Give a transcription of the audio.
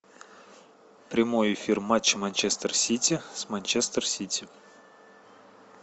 прямой эфир матча манчестер сити с манчестер сити